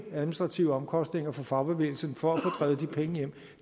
administrative omkostninger for fagbevægelsen for at få drevet de penge hjem